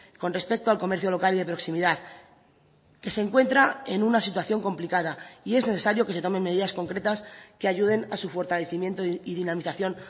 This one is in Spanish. con respecto al comercio local y de proximidad que se encuentra en una situación complicada y es necesario que se tomen medidas concretas que ayuden a su fortalecimiento y dinamización